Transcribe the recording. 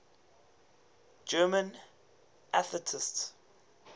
german atheists